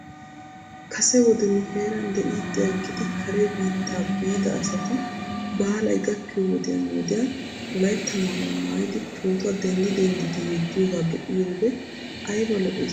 Kase wode nu heeran de'iidi aggidi kare biitta biida asati baalay gakkiyoo wodiyan wodiyan wolaytta maayuwaa maayidi pootuwaa denddi denddidi yeddiyoogaa be'iyoode ayba lo'ss giidetii?